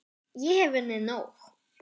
Ég hef unnið nóg!